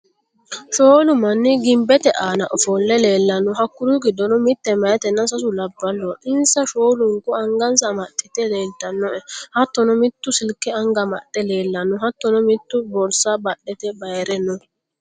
Shoolu manni gimbete aana ofolle leellanno: Hakkuri giddonni mitte maytenna sasu labballoho insa shoolunku angansa amaxxite leeltannoe: Hattono mittu Silke anga amaxxe leellanno: Hattono mittu borsa badhete bayre no,